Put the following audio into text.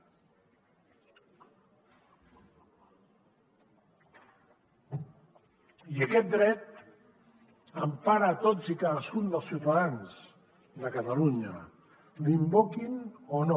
i aquest dret empara a tots i cadascun dels ciutadans de catalunya l’invoquin o no